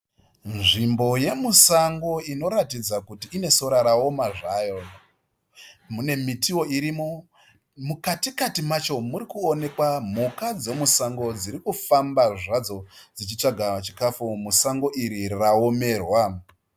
Nzvimbo yemusango inoratidza kuti ine sora rawoma zvaro. Mune mitiwo irimo, mukatikati macho murikuonekwa mhuka dzirikufamba zvadzo dzichitsvaga chikafu musango iri raomerwa.